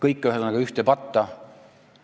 Ühesõnaga, kõik on ühte patta pandud.